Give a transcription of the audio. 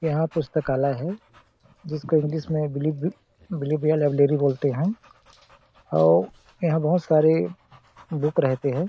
यहाँ पुस्कालय हैं जिसेको इंग्लिश में बेलीवर बिलिबिया लाइब्रेरी बोलते हैं अउ यहाँ बहुत सारे बुक रहते हैं।